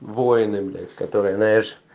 воины блять которые знаешь